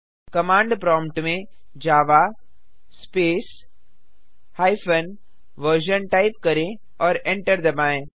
command prompt में Java space hyphen version type करें और एंटर दबाएँ